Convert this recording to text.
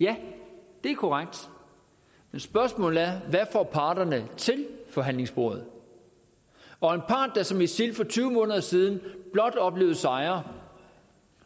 ja det er korrekt men spørgsmålet er der får parterne til forhandlingsbordet og en part der som isil for tyve måneder siden blot oplevede sejre